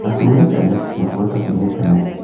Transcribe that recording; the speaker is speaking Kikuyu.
No tume tene nĩguo tũkinye tene